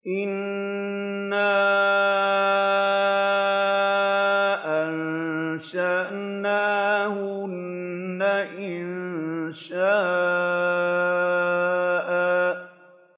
إِنَّا أَنشَأْنَاهُنَّ إِنشَاءً